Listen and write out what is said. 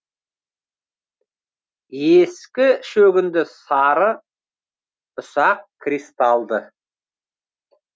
ескі шөгінді сары ұсақ кристалды